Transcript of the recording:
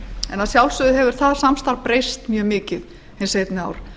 en að sjálfsögðu hefur það samstarf breyst mjög mikið hin seinni ár